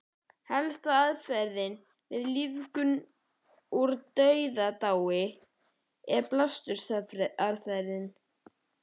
Helsta aðferðin við lífgun úr dauðadái er blástursaðferðin.